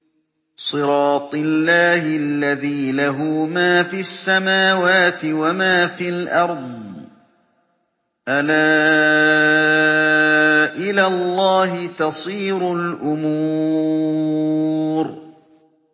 صِرَاطِ اللَّهِ الَّذِي لَهُ مَا فِي السَّمَاوَاتِ وَمَا فِي الْأَرْضِ ۗ أَلَا إِلَى اللَّهِ تَصِيرُ الْأُمُورُ